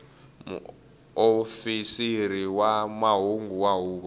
muofisiri wa mahungu wa huvo